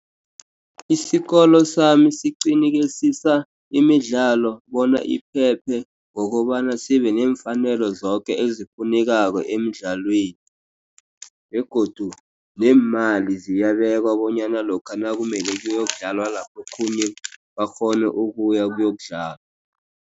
Isikolo sami siqinikesisa imidlalo bona iphephe, ngokobana sibenemfanelo zoke ezifunekako emdlalweni, begodu neemali ziyabekwa bonyana lokha nakumele kuyokudlalwa lapho okhunye bakghone ukuya ukuyokudlala.